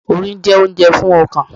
Orin jẹ́ oúnjẹ fún ọkàn.